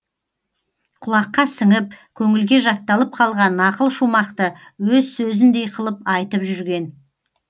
кұлаққа сіңіп көңілге жатталып калған нақыл шумақты өз сөзіндей қылып айтып жүрген